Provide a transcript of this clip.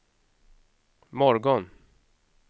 morgon